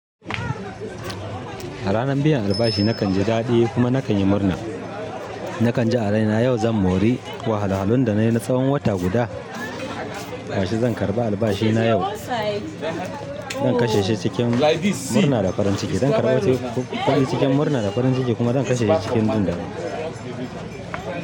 A ranar biyan albashi nakan jibdadi kuma na kanyi murna. Nakan ji a raina yau zan mori wahalahalun da na yi na tsawon wata guda. Gashi zan karɓi albashina yau. Zan kashe shi cikin murna da farin ciki. Zan karɓo ƙudi cikin murna da farin ciki kuma zan kashe shi cikin jin daɗi.